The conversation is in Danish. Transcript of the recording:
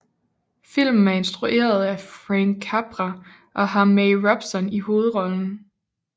Filmen er instrueret af Frank Capra og har May Robson i hovedrollen